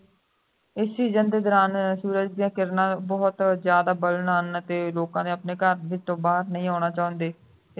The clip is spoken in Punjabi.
ਇਸ season ਦੇ ਦੌਰਾਨ ਸੂਰਜ ਸੂਰਜ ਦੀਆਂ ਕਿਰਨਾਂ ਬਹੁਤ ਜ਼ਿਆਦਾ burn ਹਨ ਤੇ ਲੋਕਾਂ ਵਿਚ ਆਪਣੇ ਘਰ ਤੋਂ ਬਾਹਰ ਨਹੀਂ ਆਉਣਾ ਚਾਹੁੰਦੇ